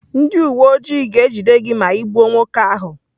Ndị uwe ojii ga-ejide gị ma ị gbuo nwoke ahụ.